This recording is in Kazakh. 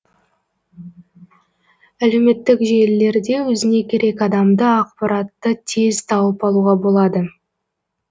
әлеуметтік желілерде өзіне керек адамды ақпаратты тез тауып алуға болады